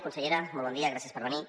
consellera molt bon dia gràcies per venir